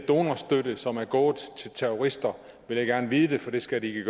donorstøtte som er gået til terrorister vil jeg gerne vide det for det skal den ikke